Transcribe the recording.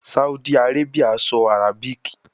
Saudi Arabia sọ Arabic